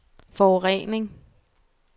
forurening